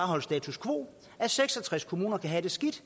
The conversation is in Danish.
holdt status quo at seks og tres kommuner kan have det skidt